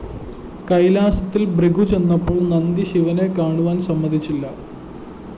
കൈലാസത്തില്‍ ഭൃഗു ചെന്നപ്പോള്‍ നന്ദി ശിവനെ കാണുവാന്‍ സമ്മതിച്ചില്ല